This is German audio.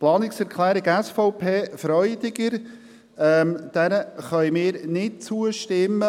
Der Planungserklärung SVP/Freudiger können wir nicht zustimmen.